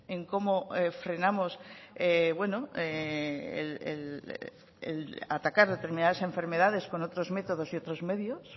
en cómo frenamos atacar determinadas enfermedades con otros métodos y otros medios